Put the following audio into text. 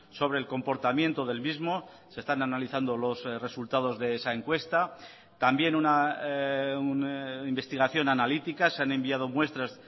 sobre el comportamiento del mismo se están analizando los resultados de esa encuesta también una investigación analítica se han enviado muestras